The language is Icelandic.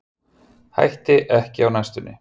Hætti ekki á næstunni